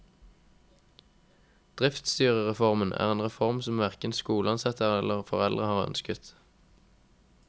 Driftsstyrereformen er en reform som hverken skoleansatte eller foreldre har ønsket.